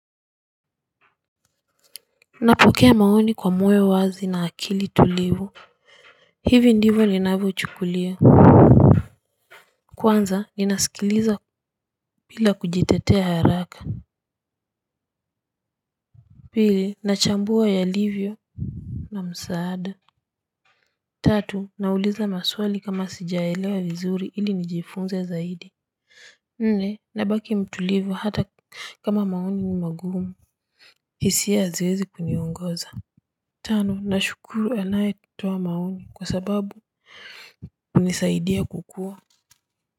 Napokea maoni kwa moyo wazi na akili tulivu. Hivi ndivyo ninavyochukulia. Kwanza ninasikiliza bila kujitetea haraka. Pili nachambua yalivyo na msaada. Tatu nauliza maswali kama sijaelewa vizuri ili nijifunze zaidi. Nne nabaki mtulivu hata kama maoni ni magumu hisia haziwezi kuniongoza. Tano nashukuru anayetoa maoni kwa sababu hunisaidia kukua.